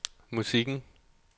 musikken